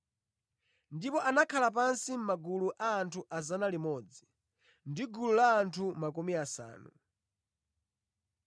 Ndipo anakhala pansi mʼmagulu a anthu 100 ndi gulu la anthu makumi asanu.